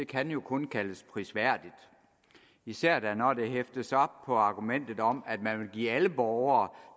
kan jo kun kaldes prisværdigt især da når det hæftes op på argumentet om at man vil give alle borgere